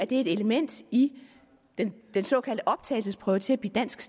det et element i den den såkaldte optagelsesprøve til at blive dansk